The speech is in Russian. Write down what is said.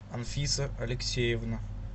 анфиса алексеевна